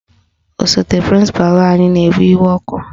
Osote prịnsịpalụ anyị na-ewe iwe ọkụ